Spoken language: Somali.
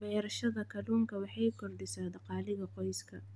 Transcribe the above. Beerashada kalluunka waxay kordhisaa dakhliga qoyska.